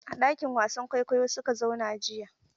A ɗakin wasan kwaikwayo su ka zauna jiya.